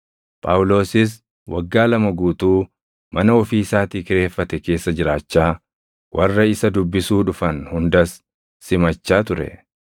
Phaawulosis waggaa lama guutuu mana ofii isaatii kireeffate keessa jiraachaa, warra isa dubbisuu dhufan hundas simachaa ture.